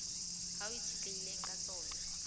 hao e itshetlehileng ka tsona